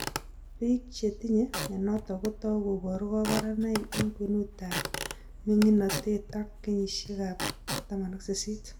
Biik chetinye mionitok kotou koboru kaborunoik eng' kwenutab ming'inotet ak kenyisiekab 18